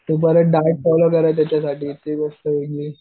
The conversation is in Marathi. ते बरंय डाएट बरं आहे त्याच्यासाठी की मी